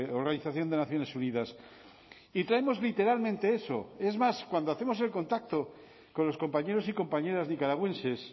organización de naciones unidas y traemos literalmente eso es más cuando hacemos el contacto con los compañeros y compañeras nicaragüenses